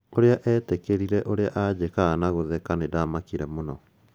ũria etĩkerire ũria ajĩkaga na kũtheka nĩndamakire mũno.